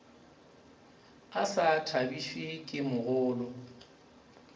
a sa thabišwe ke mogolo